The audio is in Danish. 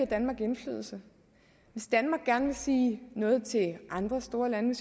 danmark indflydelse hvis danmark gerne vil sige noget til andre store lande